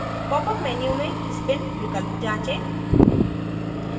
popअप menu में spin विकल्प जाँचें